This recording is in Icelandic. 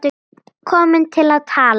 Komin til að tala.